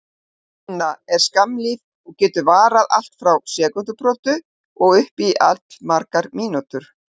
Hver hrina er skammlíf og getur varað allt frá sekúndubrotum og upp í allmargar mínútur.